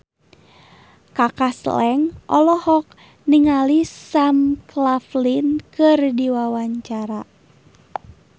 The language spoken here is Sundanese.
Kaka Slank olohok ningali Sam Claflin keur diwawancara